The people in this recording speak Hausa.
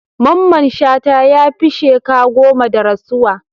Mamman Shata ya fi sheka goma da rasuwa.